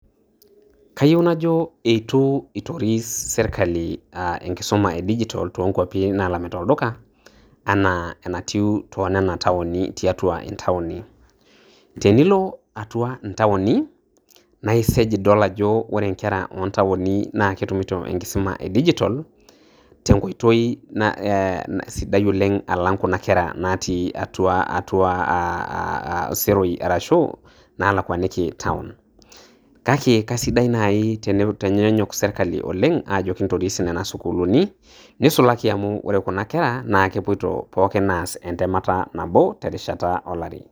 Kayieu najo eitu eitoris serkali um enkisuma e digitol too nkwapi naalamita olduka anaa enatiu too nena taoni tiatua intaoni. Tenilo atua intaoni naa isej adol ajo kore inkera oo antaoni naa ketumito enkisuma e digitol tenkoitoi sidai oleng' alang' kuna kera natii atua atua seroi arashu nalakwaniki town. Kake kesidai naaji teneitanyanyuk serkali oleng' aajo kintoris nena sukuulini neisulaki amu kore kuna kera naa kepuoita pookin aas entemata nabo terishata olari.